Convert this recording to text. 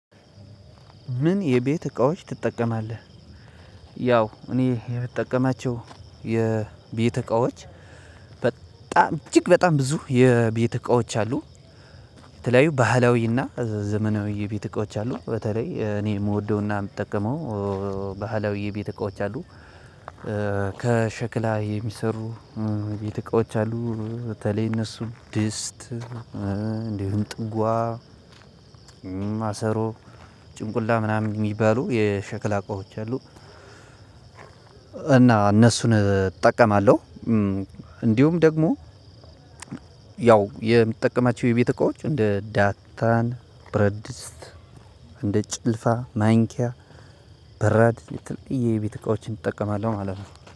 ምን የቤት እቃዎች ትጠቀማለህ? ያው እኔ የምጠቀማቸው የቤት እቃዎች በጣም እጅግ በጣም ብዙ የቤት እቃዎች አሉ። የተለያዩ ባህላዊና ዘመናዊ የቤት እቃዎች አሉ። በተለይ እኔ የምወደውና የምጠቀመው ባህላዊ ቤት እቃዎች አሉ። ከሸክላ የሚሰሩ የቤት እቃዎች አሉ በተለይ እነሱ ድስት እንዲሁም ጥዋ ማሰሮ ጭንቁላ ምናምን የሚባሉ የሸክላ እቃዎች አሉ። እና እነሱን እጠቀማለሁ። እንዲሁም ደግሞ ያው የምጠቀማቸው የቤት እቃዎች እንደ ዳታን ብረት ድስት እንደ ጭልፋ ማንኪያ በራድ የትልቅዬ የቤተ እቃዎችን እጠቀማለሁ ማለት ነው